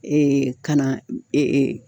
kana